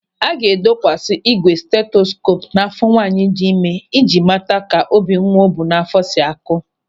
A ga-edokwasi ígwè steteskoopu n'áfọ́ nwaanyị dị ịme i ji mata ka obi nwa o bu n'áfọ́ si a kụ.